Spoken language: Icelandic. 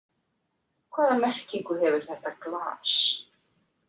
Hvaða merkingu hefur þetta glas?